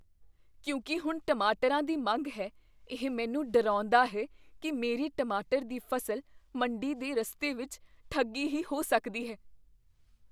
ਕਿਉਂਕਿ ਹੁਣ ਟਮਾਟਰਾਂ ਦੀ ਮੰਗ ਹੈ, ਇਹ ਮੈਨੂੰ ਡਰਾਉਂਦਾ ਹੈ ਕੀ ਮੇਰੀ ਟਮਾਟਰ ਦੀ ਫ਼ਸਲ ਮੰਡੀ ਦੇ ਰਸਤੇ ਵਿੱਚ ਠੱਗੀ ਹੀ ਹੋ ਸਕਦੀ ਹੈ।